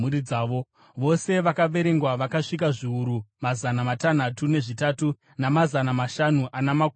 Vose vakaverengwa vakasvika zviuru mazana matanhatu nezvitatu, namazana mashanu ana makumi mashanu.